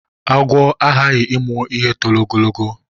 Àgwụ a hahi imu ihe tọrọ ogologo.